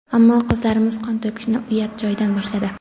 ammo qizlarimiz qon to‘kishni uyat joyidan boshladi.